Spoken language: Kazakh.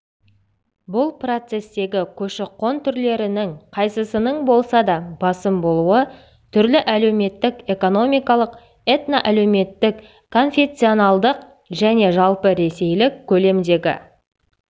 бұл процестегі көші-қон түрлерінің қайсысының болса да басым болуы түрлі әлеуметтік-экономикалық этноәлеуметтік конфессионалдық және жалпыресейлік көлемдегі